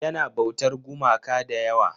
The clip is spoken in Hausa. Yana bautar gumaka da yawa.